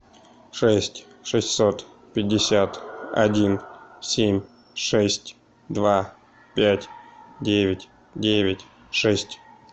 шесть шестьсот пятьдесят один семь шесть два пять девять девять шесть